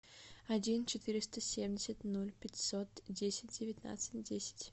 один четыреста семьдесят ноль пятьсот десять девятнадцать десять